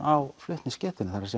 á flutningsgetu það